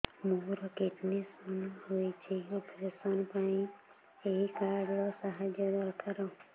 ମୋର kidney stone ହଇଛି operation ପାଇଁ ଏହି କାର୍ଡ ର ସାହାଯ୍ୟ ଦରକାର